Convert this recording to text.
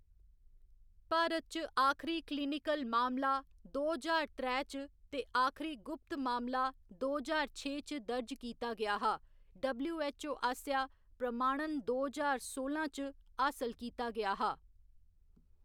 भारत च आखरी क्लिनिकल मामला दो ज्हार त्रै च ते आखरी गुप्त मामला दो ज्हार छे च दर्ज कीता गेआ हा, डबल्यू.ऐच्च.ओ. आसेआ प्रमाणन दो ज्हार सोलां च हासल कीता गेआ हा।